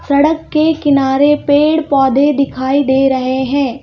सड़क के किनारे पेड़-पौधे दिखाई दे रहे हैं.